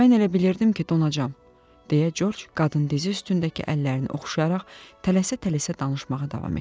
Mən elə bilirdim ki, donacam, deyə Corc qadın dizi üstündəki əllərini oxşayaraq tələsə-tələsə danışmağa davam etdi.